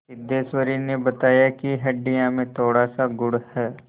सिद्धेश्वरी ने बताया कि हंडिया में थोड़ासा गुड़ है